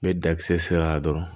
N bɛ dakisɛ sera a dɔrɔn